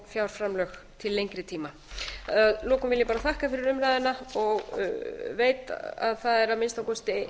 fjárframlög til lengri tíma að lokum vil ég bara þakka fyrir umræðuna og veit að það er að minnsta kosti